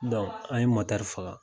an ye motɛri faga.